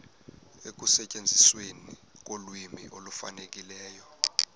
ekusetyenzisweni kolwimi olufanelekileyo